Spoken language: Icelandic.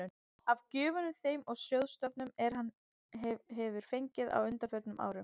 af gjöfum þeim og sjóðstofnunum, er hann hefir fengið á undanförnum árum.